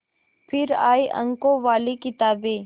फिर आई अंकों वाली किताबें